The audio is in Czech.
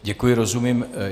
Děkuji, rozumím.